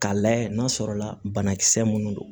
K'a layɛ n'a sɔrɔ la banakisɛ minnu don